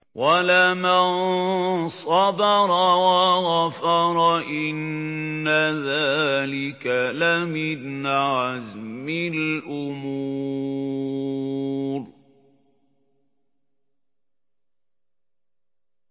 وَلَمَن صَبَرَ وَغَفَرَ إِنَّ ذَٰلِكَ لَمِنْ عَزْمِ الْأُمُورِ